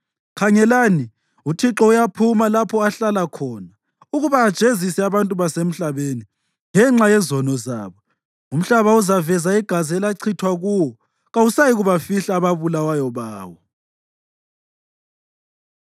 Khangelani, uThixo uyaphuma lapho ahlala khona ukuba ajezise abantu basemhlabeni ngenxa yezono zabo. Umhlaba uzaveza igazi elachithwa kuwo; kawusayikubafihla ababulawayo bawo.